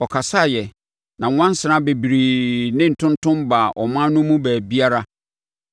Ɔkasaeɛ, na nwansena bebree ne ntontom baa ɔman no mu baabiara.